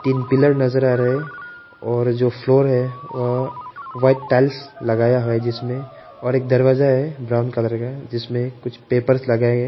एक पिलर नजर आ रहा हैं और जो फ्लोर हैं वो व्हाइट टाइल्स लगाया है जिसमें और एक दरवाजा है ब्राऊन कलर का है जिसमें कुछ पेपर लगाए--